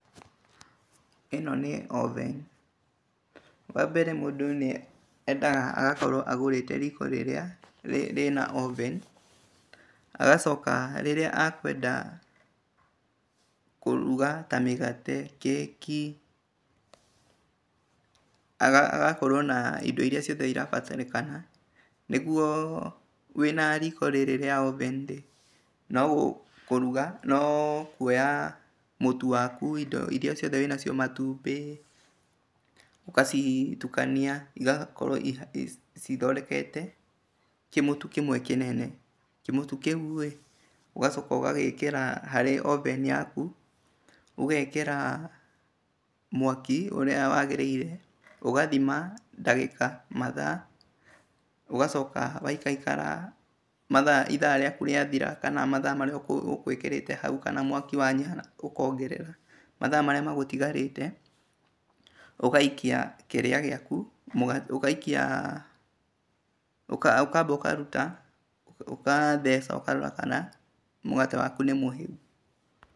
Ĩno nĩ oven. Wambere mũndũ nĩendaga akorwo agũrĩte riko rĩrĩa rĩ rĩna oven agacoka rĩrĩa akwenda kũruga ta mĩgate, keki, agakorwo na indo iria ciothe cirabatarĩkana. Nĩguo wĩnariko rĩrĩ rĩa oven rĩ nokũruga, nokuoya mũtu waku, indo iria ciothe wĩnacio, matumbĩ ũgacitukania igakorwo cithondekete kĩmũtu kĩmwe kĩnene. Kĩmũtu kĩurĩ ũgacoka ũgagĩkĩra harĩ oven i yaku, ũgekĩra mwaki ũrĩa wagĩrĩire, ũgathima dagĩka mathaa, ũgacoka waikakara mathaa ithaa rĩaku rĩathira kana mathaa marĩa ũgwĩkĩrĩte hau kana mwaki wanyiha ũkongerera. Mathaa marĩa magũtigarĩte ũgaikia kĩrĩa gĩaku ũgaikia. ũkamba ũkaruta ũgatheca ũkarora kana mũgate waku nĩmũhĩu.